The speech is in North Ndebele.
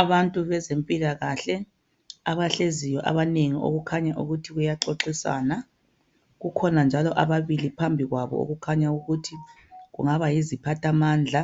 Abantu bezempilakahle abahleziyo abanengi okukhanya ukuthi kuyaxoxiswana kukhona njalo ababili phambi kwabo okukhanya ukuthi yiziphathamandla